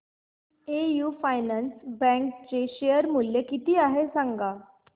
AU finance bank चे share मूल्य किती आहे सांगा